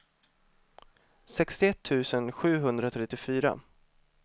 sextioett tusen sjuhundratrettiofyra